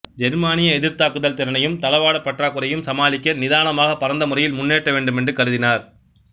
ஜெர்மானிய எதிர் தாக்குதல் திறனையும் தளவாடப் பற்றாக்குறையையும் சமாளிக்க நிதானமாக பரந்தமுறையில் முன்னேற வேண்டுமென்று கருதினார்